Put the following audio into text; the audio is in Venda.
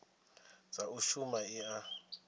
dza u shuma i a